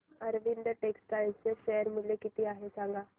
Arvind textile चे share मूल्य किती आहे मला सांगा